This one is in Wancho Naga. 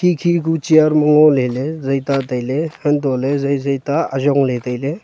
khi khi ku chair ma ngoley ley zaita tailey untohley zai zai ta ayong ley tailey.